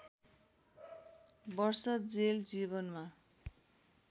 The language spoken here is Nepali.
वर्ष जेल जीवनमा